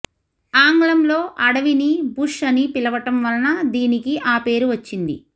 ఆంగ్లంలో అడవిని బుష్ అని పిలవటం వలన దీనికి ఆ పేరు వచ్చింది